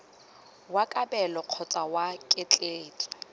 wa kabelo kgotsa wa ketleetso